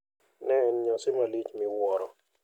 Ne en nyasi malich miwuoro.